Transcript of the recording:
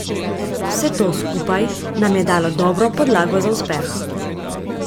Vse to skupaj nam je dalo dobro podlago za uspeh.